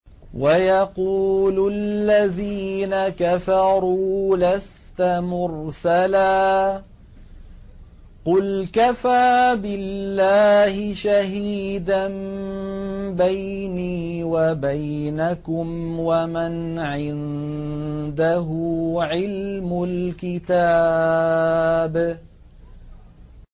وَيَقُولُ الَّذِينَ كَفَرُوا لَسْتَ مُرْسَلًا ۚ قُلْ كَفَىٰ بِاللَّهِ شَهِيدًا بَيْنِي وَبَيْنَكُمْ وَمَنْ عِندَهُ عِلْمُ الْكِتَابِ